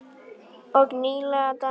Og nýleg dæmi sanna þetta.